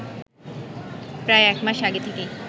প্রায় এক মাস আগে থেকেই